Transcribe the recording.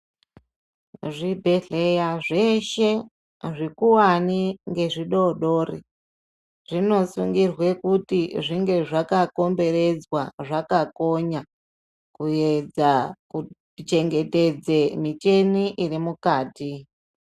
Zvibhedhleya zveshe zvikuvani ngezvidodori, zvinosungirwa kuti zvinge zvakakomberedzwa, zvakakonya kuedza kuchengetedza micheni iri mukati.